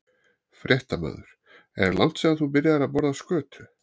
Fréttamaður: Er langt síðan að þú byrjaðir að borða skötu?